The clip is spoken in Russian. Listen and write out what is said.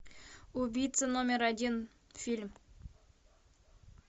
убийца номер один фильм